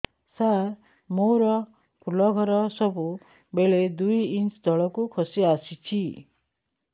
ସାର ମୋର ଫୁଲ ଘର ସବୁ ବେଳେ ଦୁଇ ଇଞ୍ଚ ତଳକୁ ଖସି ଆସିଛି